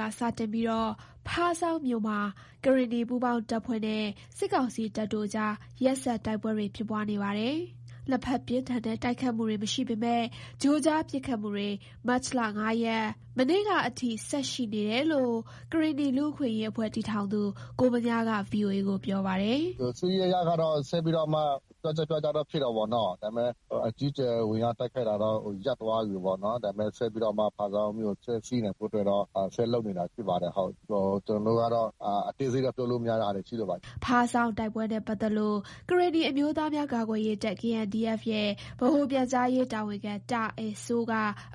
က စတင်ပြီး ဖားဆောင်းမြို့မှာ ကရင်နီ ပူးပေါင်းတပ်ဖွဲ့နဲ့ စစ်ကောင်စီတပ်တို့အကြား ရက်ဆက် တိုက်ပွဲတွေ ဖြစ်ပွားနေပါတယ်။ နှစ်ဖက် ပြင်းထန်တဲ့ တိုက်ခိုက်မှုတွေ မရှိပေမယ့် ကြိုကြား ပစ်ခတ်မှုတွေ မတ်လ ၅ရက် မနေ့ကအထိ ဆက်ရှိနေတယ်လို့ ကရင်နီ လူ့အခွင့်အရေးအဖွဲ့တည်ထောင်သူ ကိုဗညားက ဗွီအိုအေကို ပြောပါတယ်။ “စစ်ရေးအရကတော့ ဆက်ပြီးတော့မှ ကွက်ကျားကွက်ကျားတော့ ဖြစ်တာပေါ့နော်။ ဒါပေမယ့် အကြီးအကျယ် ဝင်ရောက်တိုက်ခိုက်တာတော့ ရပ်သွားပြီးပေါ့နော်။ ဒါပေမယ့် ဆက်ပြီးတော့မှ ဖားဆောင်းမြို့ကို ထိန်းဆည်းနိုင်ဖို့အတွက်တော့ ဆက်လုပ်နေတာ ရှိပါတယ်။ ကျနော်တို့ကတော့ အသေးစိတ်က ပြောလို့မရတဲ့ဟာတွေ ရှိတာပေါ့။” ဖားဆောင်းတိုက်ပွဲနဲ့ ပတ်သက်လို့ ကရင်နီအမျိုးသားများကာကွယ်ရေးတပ်(KNDF) ရဲ့ ဗဟိုပြန်ကြားရေးတာဝန်ခံ တာအယ်စိုး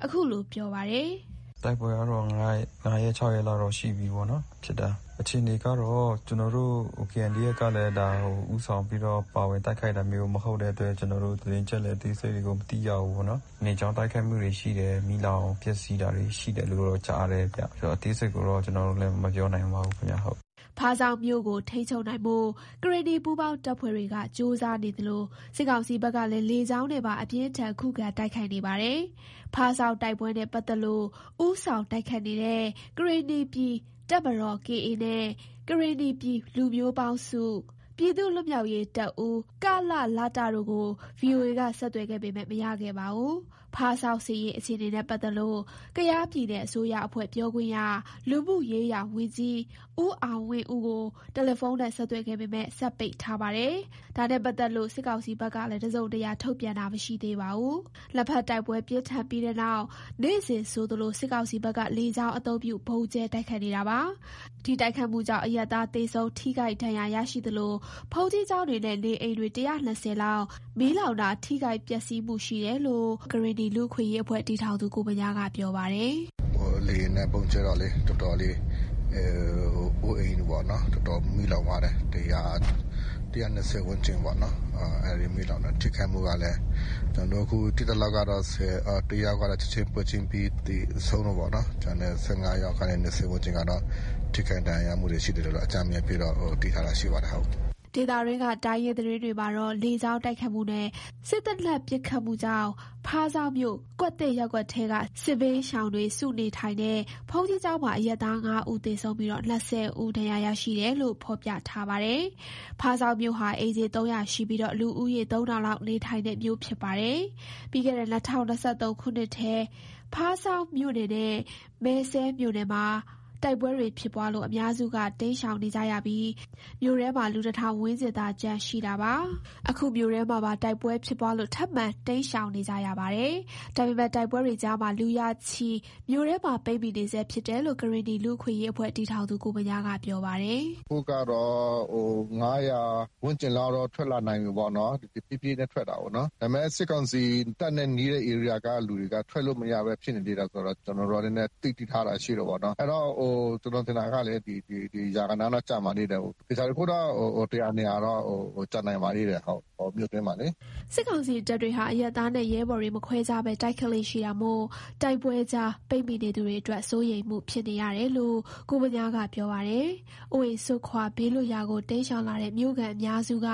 အခုလို ပြောပါတယ်။ “တိုက်ပွဲကတော့ ၅ရက် ၆ရက်လောက်တော့ ရှိပြီးပေါ့နော် ဖြစ်တာ။ အခြေအနေကတော့ ကျနော်တို့ KNDF ကလည်း ဒါ ဦးဆောင်ပြီးတော့ ပါဝင် တိုက်ခိုက်တာမျိုးမဟုတ်တဲ့ အတွက်ကြောင့် ကျနော်တို့ သတင်းအချက်အလက် အသေးစိတ်ကို မသိရဘူးပေါ့နော်။ လေကြောင်း တိုက်ခိုက်မှုတွေ ရှိတယ်၊ မီးလောင်ပျက်စီးတာတွေ ရှိတယ်လို့တော့ ကြားတယ်ဗျ၊ အသေးစိတ်ကိုတော့ ကျနော်တို့လည်း မပြောနိုင်ပါဘူး ခင်ဗျ ဟုတ်။” ဖားဆောင်းမြို့ကို ထိန်းချုပ်နိုင်ဖို့ ကရင်နီပူးပေါင်းတပ်ဖွဲ့တွေက ကြိုးစားနေသလို စစ်ကောင်စီဘက်ကလည်း လေကြောင်းနဲ့ပါ အပြင်းအထန် ခုခံ တိုက်ခိုက်နေပါတယ်။ ဖားဆောင်းတိုက်ပွဲနဲ့ ပတ်သက်လို့ ဦးဆောင်တိုက်ခိုက်နေတဲ့ ကရင်နီပြည်တပ်မတော်(KA) နဲ့ ကရင်နီပြည် လူမျိုးပေါင်းစု ပြည်သူ့လွတ်မြောက်ရေးတပ်ဦး(ကလလတ) တို့ကို ဗွီအိုအေက ဆက်သွယ်ခဲ့ပေမယ့် မရခဲ့ပါဘူး။ ဖားဆောင်းစစ်ရေးအခြေအနေနဲ့ ပတ်သက်လို့ ကယားပြည်နယ်အစိုးရအဖွဲ့ ပြောခွင့်ရ လူမှုရေးရာဝန်ကြီး ဦးအောင်ဝင်းဦးကို တယ်လီဖုန်းနဲ့ ဆက်သွယ်ခဲ့ပေမယ့် စက်ပိတ်ထားပါတယ်။ ဒါနဲ့ ပတ်သက်လို့ စစ်ကောင်စီဘက်ကလည်း တစုံတရာ ထုတ်ပြန်တာမရှိသေးပါဘူး။ နှစ်ဖက် တိုက်ပွဲပြင်းထန်ပြီးတဲ့နောက် နေ့စဉ်ဆိုသလို စစ်ကောင်စီဘက်က လေကြောင်းအသုံးပြု ဗုံးကြဲတိုက်ခိုက်နေတာပါ။ ဒီတိုက်ခိုက်မှုကြောင့် အရပ်သား သေဆုံး ထိခိုက်ဒဏ်ရာရရှိသလို ဘုန်းကြီးကျောင်းတွေ၊ နေအိမ်တွေ ၁၂၀ လောက် မီးလောင်တာ ထိခိုက် ပျက်စီးမှုရှိတယ်လို့ ကိုဗညားခွန်အောင်က ခုလို ပြောပါတယ်။ “လေယာဉ်နဲ့ ဗုံးကြဲတော့လေ အိုးအိမ်တွေပေါ့နော် တော်တော်မီးလောင်သွားတယ်။ ၁၂၀ ဝန်ကျင်းပေါ့နော် အဲ့ဒီမီးလောင်တာ ထိခိုက်မှုကလည်း ကျနော်တို့ သိသလောက်ကတော့ တစ်ယောက်က ပွဲချင်းပြီးဆုံတာပေါ့နော်။ ကျန်တဲ့ ၁၅ယောက်ကနေ ၂၀ ဝန်းကျင်ကတော့ ထိခိုက်ဒဏ်ရာရမှုတွေ ရှိသလို အကြမ်းဖျဉ်း သိထားတာရှိပါတယ်။” ဒေသတွင်းက တိုင်းရင်းသတင်းတွေမှာတော့ လေကြောင်းတိုက်ခိုက်မှုနဲ့ စက်သေနတ်ပစ်ခတ်မှုကြောင့် ဖားဆောင်းမြို့ ကွက်သစ်ရပ်ကွက်ထဲက စစ်ပြေးရှောင်တွေ စုနေထိုင်တဲ့ ဘုန်းကြီးကျောင်းမှာ အရပ်သား ၅ဦး သေဆုံးပြီ ၂၀ ဦး ဒဏ်ရာရရှိတယ်လို့ ဖော်ပြထားပါတယ်။ ဖားဆောင်းမြို့ဟာ အိမ်ခြေ ၃၀၀ ရှိပြီး လူဦးရေ ၃,၀၀၀ လောက် နေထိုင်တဲ့မြို့ ဖြစ်ပါတယ်။ ပြီးခဲ့ ၂၀၂၃ ခုနှစ်ထဲ ဖားဆောင်းမြို့နယ်နဲ့ မယ်စဲ့မြို့နယ်မှာ တိုက်ပွဲတွေဖြစ်ပွားလို့ အများစုက တိမ်းရှောက်နေကြပြီး မြို့ထဲမှာ လူ ၁,၀၀၀ ဝန်းကျင်သာ ကျန်ရှိနေတာပါ။ အခု မြို့ထဲမှာပါ တိုက်ပွဲဖြစ်ပွားလို့ ထပ်မံတိမ်ရှောင်နေကြပါတယ်။ ဒါပေမယ့် တိုက်ပွဲတွေကြားမှာ လူရာချီ မြို့ထဲမှာ ပိတ်မိနေဆဲဖြစ်တယ်လို့ ကရင်နီ လူ့အခွင့်အရေးအဖွဲ့တည်ထောင်သူ ကိုဗညား က ပြောပါတယ်။ “အခုကတော့ ၅၀၀ ဝန်းကျင်လောက်တော့ ထွက်လာနိုင်ပြီးပေါ့နော်၊ ဖြေးဖြေးနဲ့ ထွက်တာပေါ့နော်။ ဒါပေမယ့် တပ်နဲ့ နီးတဲ့ ဧရိယာကလူတွေက ထွက်မရဘဲ ဖြစ်နေသေးတယ်။ ကျနော်တို့ နည်းနည်းသိထားတာရှိ တာပေါ့နော်။ အဲ့တော့ ကျနော်ထင်တာကလေ လူရာဂဏန်းလောက် ကျန်ပါသေးတယ်။ သေချာတာတခုတော့ လူ ၁၀၀ ၊ ၂၀၀ ကျန်နိုင်ပါသေးတယ် ဟုတ်၊ မြို့တွင်းမှာလေ။” စစ်ကောင်စီတပ်တွေဟာ အရင်သားနဲ့ ရဲဘော်တွေ မခွဲခြားဘဲ တိုက်ခိုက်လေ့ရှိတာမို့ တိုက်ပွဲကြား ပိတ်မိနေသူတွေအတွက် စိုးရိမ်ဖြစ်တယ်လို့ ကိုဗညားက ပြောပါတယ်။ အိုးအိမ်စွန့်ခွာ ဘေးလွတ်ရာကို တိမ်းရှောင်လာတဲ့ မြို့အများစုက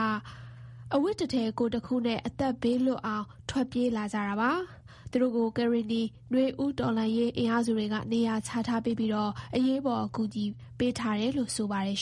အဝတ်တစ်ထည် ကိုယ်တခုနဲ့ အသက်ဘေးလွတ်အောက် ထွက်ပြေးလာကြတာပါ။ သူတို့ကို ကရင်နီ နွေဦးတော်လှန်ရေး အင်အားစုတွေက နေရာချထားပေးပြီး အရေးပေါ် အကူအညီပေးထားတယ်လို့ ဆိုပါတယ်